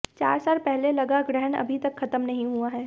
चार साल पहले लगा ग्रहण अभी तक खत्म नहीं हुआ है